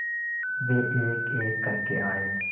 वे एकएक करके आए